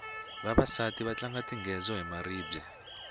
vavasati va tlanga tingedzo hi maribye